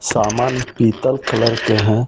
सामान पीतल कलर के हैं।